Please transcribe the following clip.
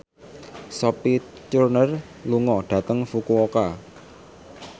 Sophie Turner lunga dhateng Fukuoka